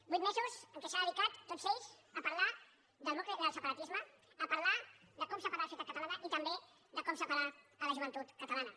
vuit mesos en què s’ha dedicat tots ells a parlar del separatisme a parlar de com separar la societat catalana i també de com separar la joventut catalana